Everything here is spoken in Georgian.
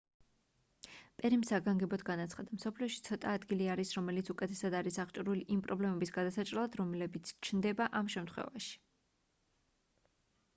პერიმ საგანგებოდ განაცხადა მსოფლიოში ცოტა ადგილი არის რომელიც უკეთესად არის აღჭურვილი იმ პრობლემის გადასაჭრელად რომელიც ჩნდება ამ შემთხვევაში